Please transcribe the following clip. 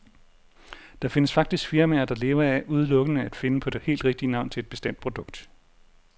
Der findes faktisk firmaer, der lever af udelukkende at finde på det helt rigtige navn til et bestemt produkt.